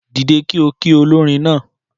Dìde kí ọ ki olórin náà